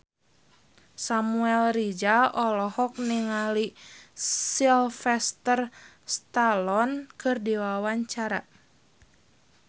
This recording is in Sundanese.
Samuel Rizal olohok ningali Sylvester Stallone keur diwawancara